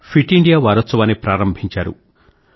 fit India వారోత్సవాన్ని ప్రారంభించారు